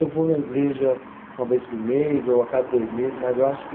Eu vou na igreja uma vez por mês ou a cada dois meses, mas eu acho que